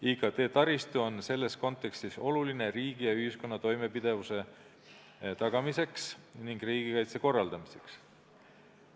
IKT-taristu on selles kontekstis oluline riigi ja ühiskonna toimepidevuse tagamiseks ning riigikaitse korraldamiseks.